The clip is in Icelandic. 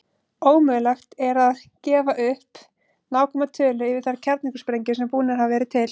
Ómögulegt er að gefa upp nákvæma tölu yfir þær kjarnorkusprengjur sem búnar hafa verið til.